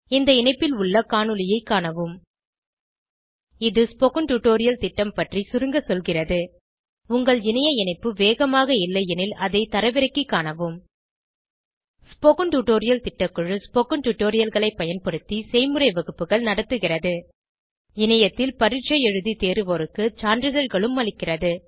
இந்த இணைப்பில் உள்ள காணொளியைக் காணவும் httpspoken tutorialorgWhat is a Spoken Tutorial இது ஸ்போகன் டுடோரியல் திட்டம் பற்றி சுருங்க சொல்கிறது உங்கள் இணைய இணைப்பு வேகமாக இல்லையெனில் அதை தரவிறக்கிக் காணவும் ஸ்போகன் டுடோரியல் திட்டக்குழு ஸ்போகன் டுடோரியல்களைப் பயன்படுத்தி செய்முறை வகுப்புகள் நடத்துகிறது இணையத்தில் பரீட்சை எழுதி தேர்வோருக்கு சான்றிதழ்களும் அளிக்கிறது